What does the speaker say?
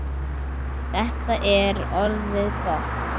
Þetta er orðið gott.